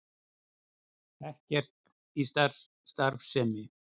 Ekkert í starfsemi